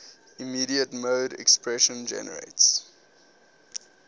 immediate mode expression generates